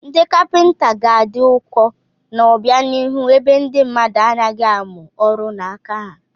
Ndị kapịnta ga-adị ụkọ n'obianihu ebe ndị mmadụ anaghị amụ ọrụ n'aka ha.